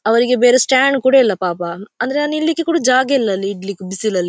ಅವರಿಗೆ ಬೇರೆ ಸ್ಟಾಂಡ್ ಕೂಡ ಇಲ್ಲ ಪಾಪ ಅಂದ್ರೆ ಅಲ್ಲಿ ನಿಲ್ಲಿಕೆ ಕೊಡ ಜಾಗವಿಲ್ಲಾ ಅಲ್ಲಿ ಇಡ್ಲಿಕ್ಕೆ ಬಿಸಿಲಿನಲ್ಲಿ.